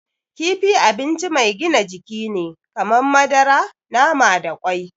Kifi abinci mai gina jiki ne kamar madara, nama da kwai.